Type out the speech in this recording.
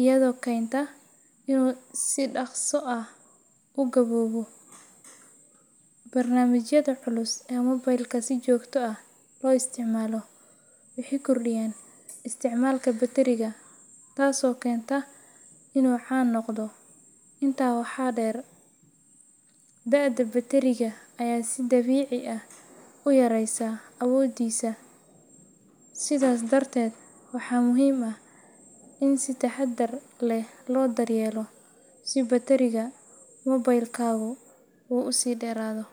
iyadoo keenta inuu si dhaqso ah u gaboobo. Barnaamijyada culus ee mobilka si joogto ah loo isticmaalo waxay kordhiyaan isticmaalka batteriga, taasoo keenta in uu can noqdo. Intaa waxaa dheer, da’da batteriga ayaa si dabiici ah u yareysa awooddiisa, sidaas darteed waa muhiim in si taxadar leh loo daryeelo si batteriga mobilkaagu u sii dheeraado.